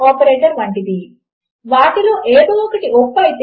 ఒక యూజర్ ఒక website లోకి లాగిన్ అవ్వాలి అనుకుంటున్నాడు అనుకోండి